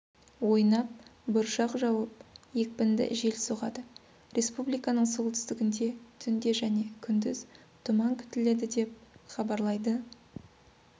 ойнап бұршақ жауып екпінді жел соғады республиканың солтүстігінде түнде және күндіз тұман күтіледі деп хабарлайды